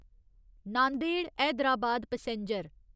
Nanded Hyderabad passenger